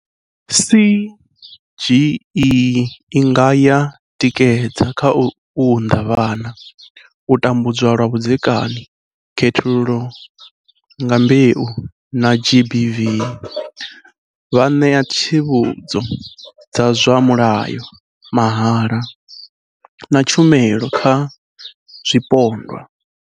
CGE i nga ya tikedza kha u unḓa vhana, u tambudzwa lwa vhudzekani, khethululo nga mbeu na GBV, vha ṋea tsivhudzo dza zwa mulayo mahala na tshumelo kha zwipondwa.